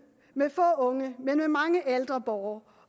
med få unge men mange ældre borgere